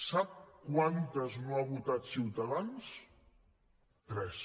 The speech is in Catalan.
sap quantes no ha votat ciutadans tres